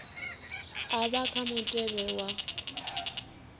a vha kha mutevhe wa